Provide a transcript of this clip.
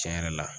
Tiɲɛ yɛrɛ la